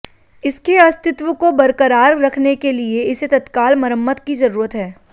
इसके अस्तित्व को बरकरार रखने के लिए इसे तत्काल मरम्मत की जरूरत है